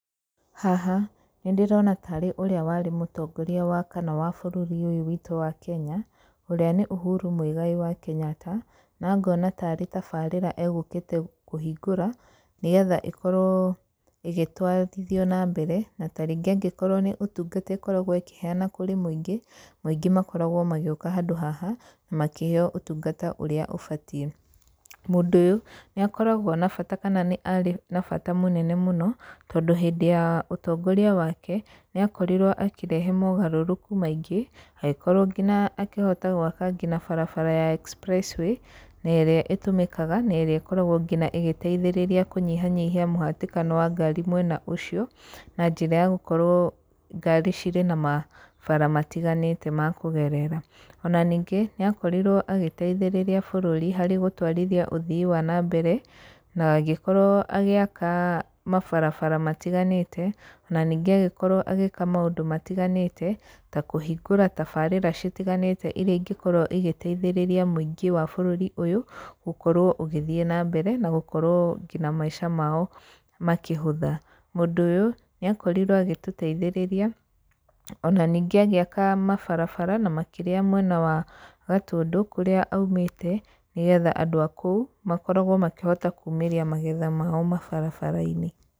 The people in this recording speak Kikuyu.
Haha nĩ ndĩrona ta ũrĩa warĩ mũtongoria wakana wa bũrũri ũyũ witũ wa kenya, ũrĩa nĩ Uhuru Mũigai wa Kenyatta na ngona ta arĩ tabarĩra egũkĩte kũhingũra, nĩgetha ĩkorwo ĩgĩtwarithio na mbere, na tarĩngĩ angĩkorwo nĩ ũtũngata ĩkoragwo ĩkĩheana kũrĩ mũingĩ, mũingĩ makoragwo magĩũka handũ haha makĩheyo ũtungata ũrĩa ũbatiĩ. Mũndũ ũyũ nĩ akoragwo na bata kana nĩ arĩ na bata mũnene mũno, tondũ hĩndĩ ya ũtongoria wake nĩ akorirwo akĩrehe mogarũrũku maingĩ agĩkorwo nginya akihota gwaka barabara ya express way na ĩrĩa ĩtũmĩkaga na ĩrĩa ĩkoragwo nginya ĩgĩteithĩrĩria kũnyihanyihia mũhĩtĩkano wa ngari mwena ũcio, na njĩra ya gũkorwo ngari cirĩ na mabara matiganĩte makũgerera. Na ningĩ nĩ akorirwo agĩteithĩrĩria bũrũri harĩ gũtũarithia ũthii wa na mbere na agĩkorwo agĩaka mabarabara matiganĩte, na ningĩ agĩkorwo agĩka maũndũ matiganĩte ta kũhingũra tabarĩra citiganĩte iria ingĩkorwo igĩteithĩrĩria mũingĩ wa bũrũri ũyũ, gũkorwo ũgĩthiĩ na mbere na gũkorwo nginya maica mao makĩhũtha. Mũndũ ũyũ nĩ akorirwo agĩtũteithĩrĩria ona ningĩ agĩaka mabarabara na makĩria mwena wa Gatũndũ kũrĩa aumĩte, nĩgetha andũ a kũu makorwo makĩhota kũmĩria magetha mao mabarabara-inĩ.